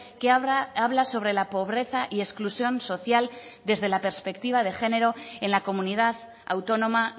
que habla sobre la pobreza y exclusión social desde la perspectiva de género en la comunidad autónoma